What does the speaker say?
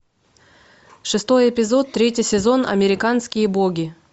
шестой эпизод третий сезон американские боги